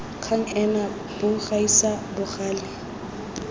kgang ena bo gaisa bogale